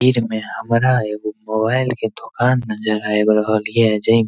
तस्वीर में हमरा एगो मोबाइल के दो नजर आब रहल ये जे मे --